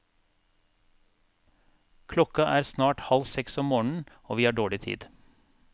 Klokka er snart halv seks om morgenen og vi har dårlig tid.